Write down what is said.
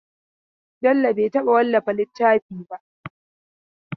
Bello bai taɓa wallafa littafi ba.